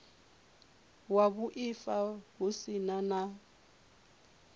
wa vhuaifa hu si na